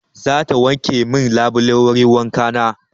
Za ta wanke min labulan wurin wanka na.